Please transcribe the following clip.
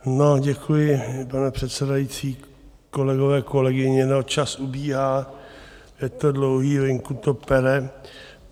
No, děkuji, pane předsedající, kolegové, kolegyně, no čas ubíhá, je to dlouhý, venku to pere.